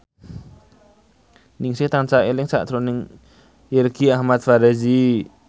Ningsih tansah eling sakjroning Irgi Ahmad Fahrezi